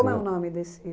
Como é o nome desse?